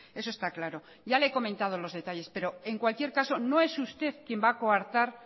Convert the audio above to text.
eso está claro ya le he comentado los detalles pero en cualquier caso no es usted quien va a coartar